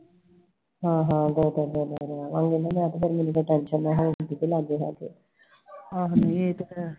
ਹਾਂ ਹਾਂ ਦੋ ਦਿਨ ਰਹਿ ਆਉਂਗੀ ਮੈਨੂੰ ਤਾ ਟੈਂਸ਼ਨ ਹੋਰ ਨਾ ਲੱਗ ਜੇ ਕੀਤੇ ਲਾਗੇ ਸ਼ਾਗੇ